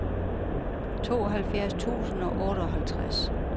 tooghalvfjerds tusind og otteoghalvtreds